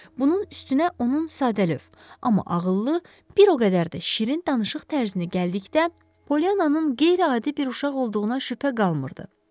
Bunun üstünə onun sadəlövh, amma ağıllı, bir o qədər də şirin danışıq tərzini gəldikdə, Polyananın qeyri-adi bir uşaq olduğuna şübhə qalmırdı.